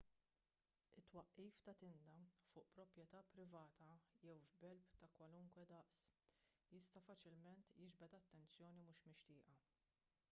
it-twaqqif ta' tinda fuq proprjetà privata jew f'belt ta' kwalunkwe daqs jista' faċilment jiġbed attenzjoni mhux mixtieqa